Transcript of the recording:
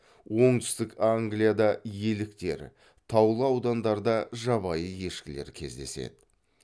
оңтүстік англияда еліктер таулы аудандарда жабайы ешкілер кездеседі